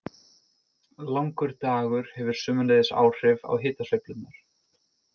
Langur dagur hefur sömuleiðis áhrif á hitasveiflurnar.